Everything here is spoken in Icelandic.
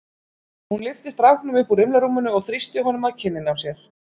Hún lyfti stráknum upp úr rimlarúminu og þrýsti honum að kinninni á sér.